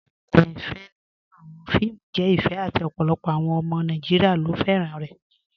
Awọn ìtàn ìfẹ nínu awọn fíìmù jẹ ìfẹ àti ọ̀pọ̀lọpọ̀ awọn ọmọ Nàìjíríà ló fẹ́ran rẹ̀.